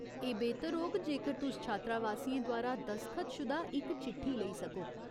एह् बेह्तर होग जेकर तुस छात्रावासियें द्वारा दसख्तशुदा इक चिट्ठी लेई सको।